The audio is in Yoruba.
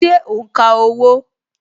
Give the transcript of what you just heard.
Ṣé o n ka owó?